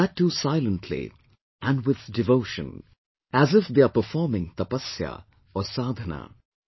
That too silently, and with devotion, as if they are performing 'tapasya' or 'sadhana'